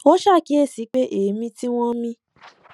wón ṣàkíyèsí pé èémí tí wón ń mí